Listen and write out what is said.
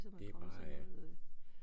Det er bare øh